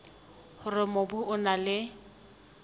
hore mobu o na le